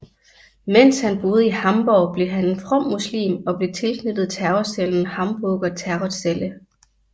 Mens han boede i Hamborg blev han en from muslim og blev tilknyttet terrorcellen Hamburger Terrorzelle